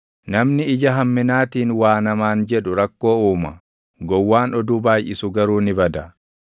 Namni ija hamminaatiin waa namaan jedhu rakkoo uuma; gowwaan oduu baayʼisu garuu ni bada.